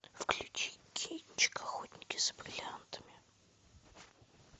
включи кинчик охотники за бриллиантами